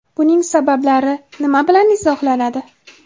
Buning sabablari nima bilan izohlanadi?